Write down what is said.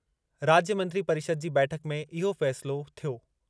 राज्य मंत्री परिषद जी बैठक में इहो फ़ैसिलो थियो।